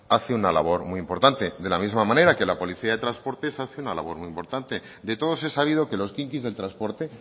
hace una labor muy importante de la misma manera que la policía de transportes hace una labor muy importante de todos es sabido que los quinquis del transporte